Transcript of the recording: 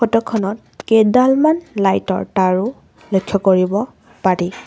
Photo খনত কেইডালমান light ৰ তাঁৰো লক্ষ্য কৰিব পাৰি।